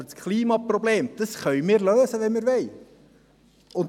Aber das Klimaproblem können wir lösen, wenn wir wollen!